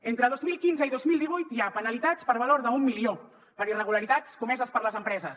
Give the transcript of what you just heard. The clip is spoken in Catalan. entre dos mil quinze i dos mil divuit hi ha penalitats per valor d’un milió per irregularitats comeses per les empreses